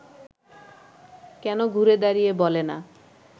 কেন ঘুরে দাঁড়িয়ে বলে না